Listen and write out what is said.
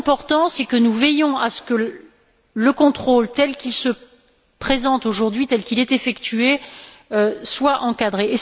Ce qui est important, c'est que nous veillions à ce que le contrôle, tel qu'il se présente aujourd'hui, tel qu'il est effectué, soit encadré.